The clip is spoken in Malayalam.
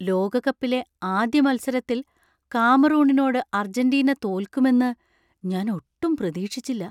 ലോകകപ്പിലെ ആദ്യ മത്സരത്തിൽ കാമറൂണിനോട് അർജന്റീന തോൽക്കുമെന്ന് ഞാന്‍ ഒട്ടും പ്രതീക്ഷിച്ചില്ല.